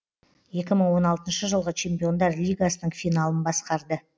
екі мың он алтыншы жылғы чемпиондар лигасының финалын басқарды